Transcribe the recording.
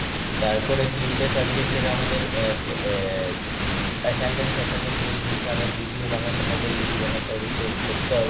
তারপর তিনটে subject টের আমাদের আ~ assignment ফাসায়মেন্ট দিয়ে দিয়েছে আবার Video বানাতে হবে এই বানাতে হবে সে করতে হবে.